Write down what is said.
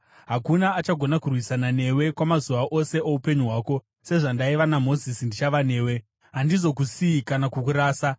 Hakuna achagona kurwisana newe kwamazuva ose oupenyu hwako. Sezvandaiva naMozisi, ndichava newe; handizokusiyi kana kukurasa.